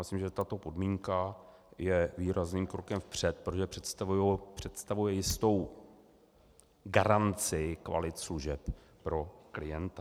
Myslím, že tato podmínka je výrazným krokem vpřed, protože představuje jistou garanci kvalit služeb pro klienta.